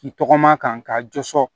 K'i tɔgɔma kan ka jɔsɔrɔ